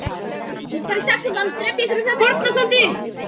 Hlutu skáldverk hans, þar á meðal leikverk, betri viðtökur.